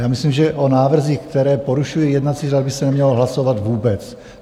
Já myslím, že o návrzích, které porušují jednací řád, by se nemělo hlasovat vůbec.